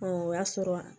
o y'a sɔrɔ